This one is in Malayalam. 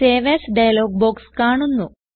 സേവ് എഎസ് ഡയലോഗ് ബോക്സ് കാണുന്നു